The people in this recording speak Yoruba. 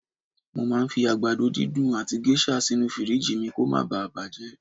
Mo màá ń fi àgbàdo dídùn àti géṣà sínú fìríìjì kó ma baà bàjẹ́